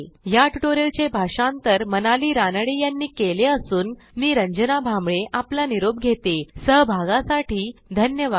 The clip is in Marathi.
ह्या ट्युटोरियलचे भाषांतर मनाली रानडे यांनी केले असून मी रंजना भांबळे आपला निरोप घेते160 सहभागासाठी धन्यवाद